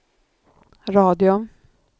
radio